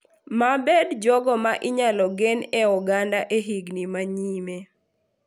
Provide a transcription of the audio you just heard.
Mabed jogo ma inyalo gen e oganda e higni manyime.